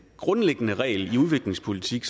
grundlæggende regel i udviklingspolitik